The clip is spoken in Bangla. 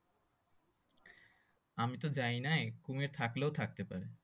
আমি তো যায় নাই কুমির থাকলেও থাকতেও পারে